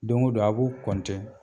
Doŋo don a" b'u